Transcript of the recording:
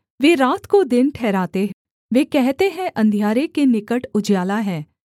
वे रात को दिन ठहराते वे कहते हैं अंधियारे के निकट उजियाला है